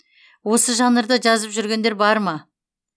осы жанрда жазып жүргендер бар ма